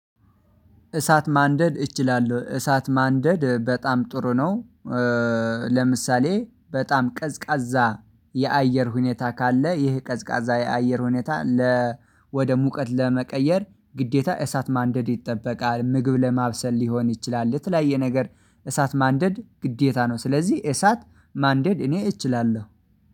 እሳት ማንደድ እችላለሁ እሳት ማንደድ በጣም ጥሩ ነው። ለምሳሌ በጣም ቀዝቃዛ የአየር ሁኔታ ካለ ይህ ቀዝቃዛ የአየር ሁኔታ ለ ወደ ሙቀት ለመቀየር ግዴታ እሳት ማንደድ ይጠበቃል ምግብ ለማብሰል ሊሆን ይችላል ለተለያየ ነገር እሳት ማንደድ ግዴታ ነው። ስለዚህ እሳት ማንደድ እኔ እችላለሁ።